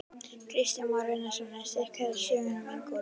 Kristján Már Unnarsson: En styrkir þetta sögnina um Ingólf?